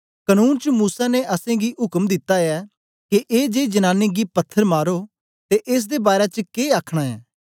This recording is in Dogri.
कनून च मूसा ने असेंगी उक्म दिता ऐ के ए जेई जनांनी गी पत्थर मारो तू एस दे बारै च के आखना ऐं